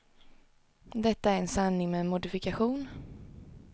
Detta är en sanning med modifikation.